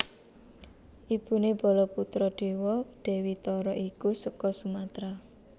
Ibuné Balaputradewa Dewi Tara iku seka Sumatra